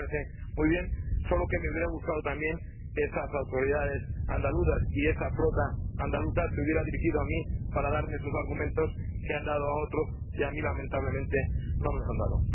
A mí me parece muy bien, solo que me habría gustado también que esas autoridades andaluzas y esa flota andaluza se hubieran dirigido a mí para exponerme sus argumentos, que han expuesto a otros y a mí, lamentablemente, no lo han hecho.